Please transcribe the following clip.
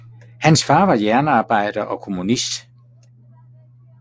Hans far var jernbanearbejder og kommunist